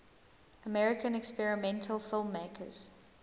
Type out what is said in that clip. american experimental filmmakers